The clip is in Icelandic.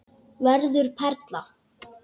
Verður perla.